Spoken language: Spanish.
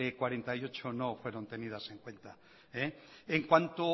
cuarenta y ocho no fueron tenidas en cuenta en cuanto